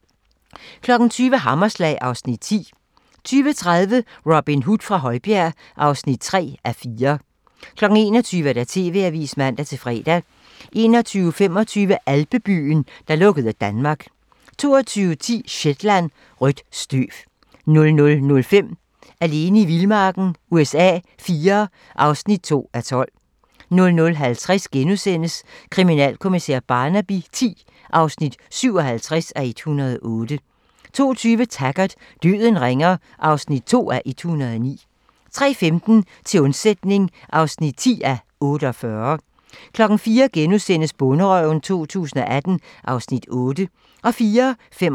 20:00: Hammerslag (Afs. 10) 20:30: Robin Hood fra Højbjerg (3:4) 21:00: TV-avisen (man-fre) 21:25: Alpebyen, der lukkede Danmark 22:10: Shetland: Rødt støv 00:05: Alene i vildmarken USA IV (2:12) 00:50: Kriminalkommissær Barnaby X (57:108)* 02:20: Taggart: Døden ringer (2:109) 03:15: Til undsætning (10:48) 04:00: Bonderøven 2018 (Afs. 8)*